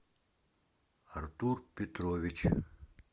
артур петрович